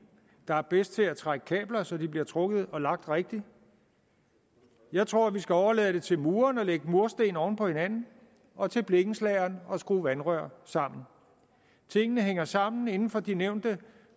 der er bedst til at trække kabler så de bliver trukket og lagt rigtigt jeg tror vi skal overlade det til mureren at lægge murstenene oven på hinanden og til blikkenslageren at skrue vandrørene sammen tingene hænger sammen inden for de nævnte